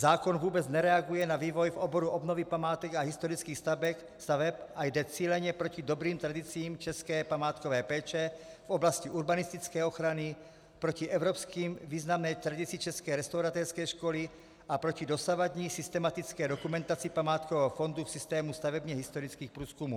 Zákon vůbec nereaguje na vývoj v oboru obnovy památek a historických staveb a jde cíleně proti dobrým tradicím české památkové péče v oblasti urbanistické ochrany, proti evropsky významné tradici české restaurátorské školy a proti dosavadní systematické dokumentaci památkového fondu v systému stavebně historických průzkumů.